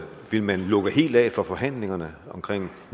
vil man lukke helt af for forhandlingerne omkring